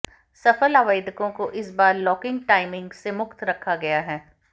सफल आवेदकों को इस बार लॉकिंग टाइमिंग से मुक्त रखा गया है